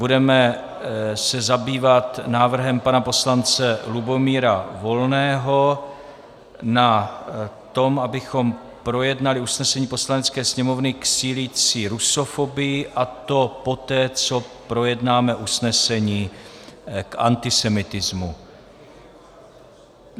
Budeme se zabývat návrhem pana poslance Lubomíra Volného na to, abychom projednali usnesení Poslanecké sněmovny k sílící rusofobii, a to poté, co projednáme usnesení k antisemitismu.